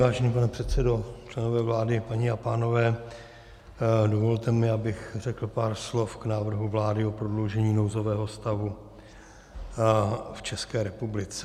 Vážený pane předsedo, členové vlády, paní a pánové, dovolte mi, abych řekl pár slov k návrhu vlády o prodloužení nouzového stavu v České republice.